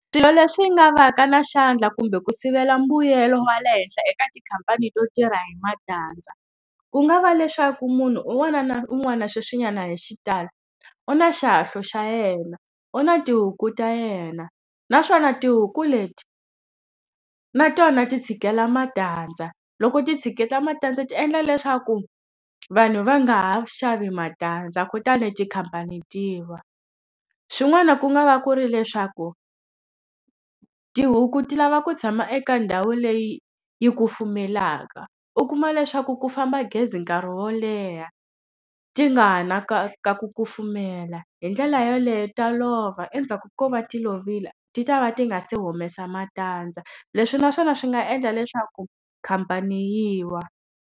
Swilo leswi nga va ka na xandla kumbe ku sivela mbuyelo wa le henhla eka tikhampani to tirha hi matandza. Ku nga va leswaku munhu un'wana na un'wana sweswinyana hi xitalo, u na xihahlo xa yena, u na tihuku ta yena. Naswona tihuku leti na tona ti tshikela matandza. Loko ti tshikela matandza ti endla leswaku vanhu va nga ha xavi matandza kutani tikhampani ti wa. Swin'wana ku nga va ku ri leswaku, tihuku ti lava ku tshama eka ndhawu leyi yi kufumelaka. U kuma leswaku ku famba gezi nkarhi wo leha, ti nga ha ri na ka ka ku kufumela, hi ndlela yoleyo ta lova endzhaku ko va ti lovile ti ta va ti nga se humesa matandza. Leswi na swona swi nga endla leswaku khampani yi wa.